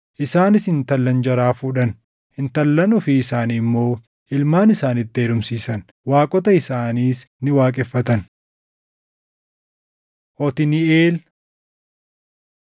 Isaanis intallan jaraa fuudhan; intallan ofii isaanii immoo ilmaan isaaniitti heerumsiisan; waaqota isaaniis ni waaqeffatan. Otniiʼeel